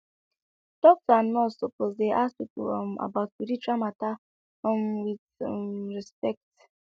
doctor and nurse sopose dey ask pipo um about spiritual mata um wit um respect